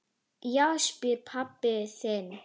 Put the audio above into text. Já, spyrðu pabba þinn!